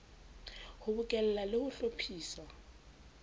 ho bokella le ho hlophisa